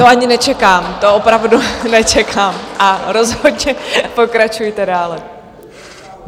To ani nečekám, to opravdu nečekám a rozhodně pokračujte dále.